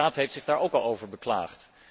De Raad heeft zich daar ook al over beklaagd.